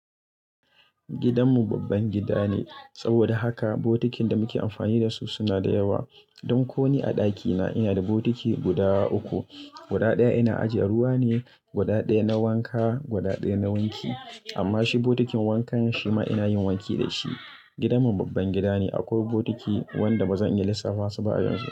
Gidanmu babban gida ne saboda haka botikin da muke amfani da su suna da yawa. Don koni a ɗakina ina da botiki guda uku. Guda ɗaya ina ajiye ruwa ne, guda ɗaya na wanka, guda ɗaya na wanki. Amma shi bokitin wankan shi ma ina yin wanki da shi. Gidan mu babban gidane akwai botiki wanda bazan iya lissafa su ba a yanzu.